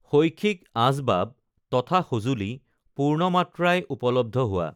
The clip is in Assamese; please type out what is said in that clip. শৈক্ষিক আঁচ বাব তথা সঁজুলী পূ্ৰ্ণমাত্ৰাই উপলব্ধ হোৱা